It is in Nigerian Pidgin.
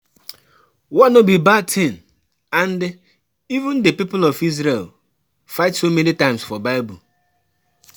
War no be bad thing and even the people of Isreal fight so many times for bible